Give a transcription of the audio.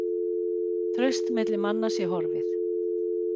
Traust milli manna sé horfið